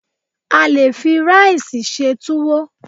A lè fi ráìsì ṣe túwó.